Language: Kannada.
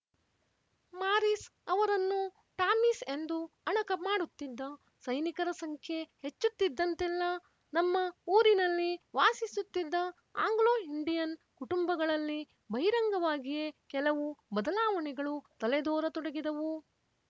ಮಾರಿಸ್ ಅವರನ್ನು ಟಾಮೀಸ್ ಎಂದು ಅಣಕ ಮಾಡುತ್ತಿದ್ದ ಸೈನಿಕರ ಸಂಖ್ಯೆ ಹೆಚ್ಚುತ್ತಿದ್ದಂತೆಲ್ಲ ನಮ್ಮ ಊರಿನಲ್ಲಿ ವಾಸಿಸುತ್ತಿದ್ದ ಆಂಗ್ಲೋ ಇಂಡಿಯನ್ ಕುಟುಂಬಗಳಲ್ಲಿ ಬಹಿರಂಗವಾಗಿಯೇ ಕೆಲವು ಬದಲಾವಣೆಗಳು ತಲೆದೋರತೊಡಗಿದವು